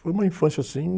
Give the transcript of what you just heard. Foi uma infância assim...